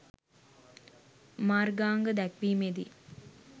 මාර්ගාංග දැක්වීමේදී